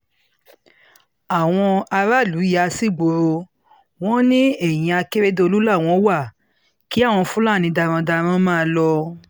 àwọn aráàlú yà sígboro wọn ní ẹ̀yìn akérèdọ́lù làwọn wá kí àwọn fúlàní darandaran máa lọ